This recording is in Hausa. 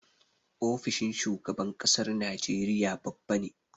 Ofishin shugaban ƙasar Nigeria babba ne.